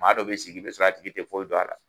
Maa dɔ bɛ sigi i bɛ sɔrɔ a tigi tɛ foyi don a la.